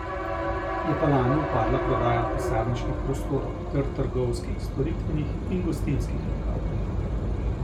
Je pa lani upadla prodaja pisarniških prostorov ter trgovskih, storitvenih in gostinskih lokalov.